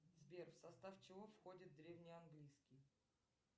сбер в состав чего входит древний английский